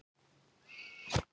Heimir: Eru þær góðar?